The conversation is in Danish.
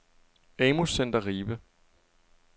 AMU Center Ribe